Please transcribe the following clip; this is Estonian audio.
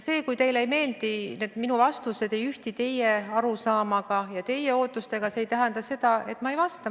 Kui teile ei meeldi, et minu vastused ei ühti teie arusaamaga ja teie ootustega, siis see ei tähenda seda, et ma ei vasta.